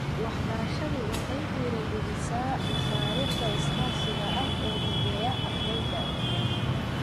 Waxbarashadu waxay dhiirigelisaa mashaariicda iskaashiga ah ee mideeya ardayda.